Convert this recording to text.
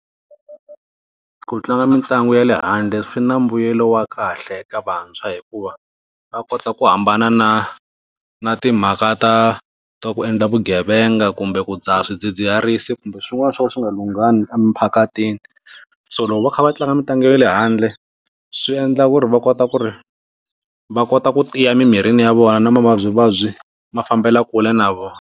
Ku tlanga mitlangu ya le handle swi na mbuyelo wa kahle eka vantshwa hikuva va kota ku hambana na na timhaka ta ta ku endla vugevenga kumbe ku dzaha swidzidziharisi kumbe swin'wana swo ka swi nga lunghanga emphakathini so loko va kha va tlanga mitlangu ya le handle swi endla ku ri va kota ku ri va kota ku tiya mimirini ya vona na mavabyivabyi ma fambela kule na vona.